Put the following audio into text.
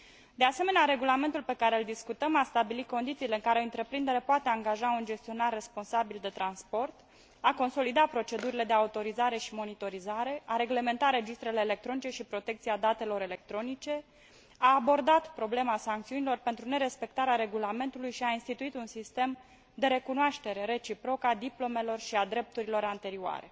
De asemenea, regulamentul pe care îl discutăm a stabilit condițiile în care o întreprindere poate angaja un gestionar responsabil de transport, a consolidat procedurile de autorizare și monitorizare, a reglementat registrele electronice și protecția datelor electronice, a abordat problema sancțiunilor pentru nerespectarea regulamentului și a instituit un sistem de recunoaștere reciprocă a diplomelor și a drepturilor anterioare.